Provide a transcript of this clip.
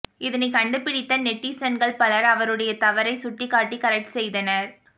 இதனை கண்டுபிடித்த நெட்டிசன்கள் பலர் அவருடை தவறை சுட்டிக்காட்டி கரெக்ட் செய்தனர்